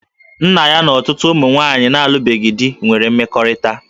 Nna ya na ọtụtụ ụmụ nwaanyị na-alụbeghị di nwere mmekọrịta